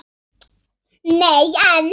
Nei, en.